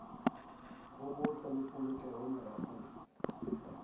bo botle le polokeho merafong